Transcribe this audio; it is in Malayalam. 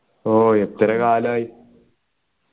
ഓ എത്ര കാലായി